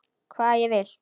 Hvað ég vil.